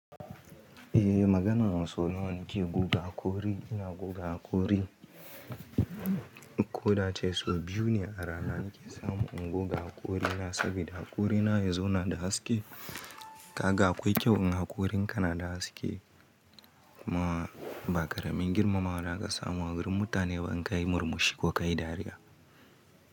Eh maganan saunawa nake guga haƙuri, ina guga haƙuri. Ko da ace sau biyu ne a rana nake samu ingo ga haƙuri na saboda haƙuri na yazo na da haske. Kaga akwai kyau in haƙurin ka na da haske ma baƙaramin girma mawa da kasa mu agurin mutane ba in kai murmushi ko kai dariya.